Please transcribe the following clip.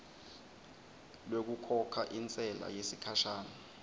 lwekukhokha intsela yesikhashana